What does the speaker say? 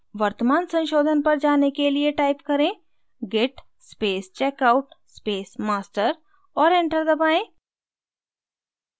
वर्तमान संशोधन पर जाने के लिए type करें git space checkout space master और enter दबाएँ